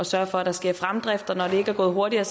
sørge for at der sker fremdrift og når det ikke er gået hurtigere